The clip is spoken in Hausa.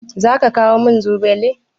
Zaki kawo min zogale?